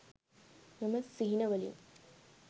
මෙම සිහිනවලින්